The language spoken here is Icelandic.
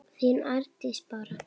þín Arndís Bára.